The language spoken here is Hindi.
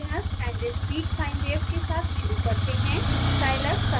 plotting continuous and discrete sine wave के साथ शुरू करते हैं